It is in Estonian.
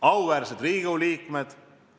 Auväärsed Riigikogu liikmed!